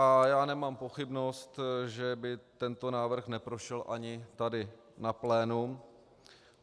A já nemám pochybnost, že by tento návrh neprošel ani tady na plénu.